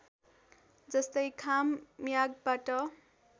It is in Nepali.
जस्तै खाम मियागबाट